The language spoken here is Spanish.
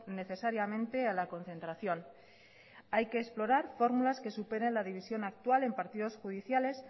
necesariamente a la concentración hay que explorar formulas que superen la división actual en partido judiciales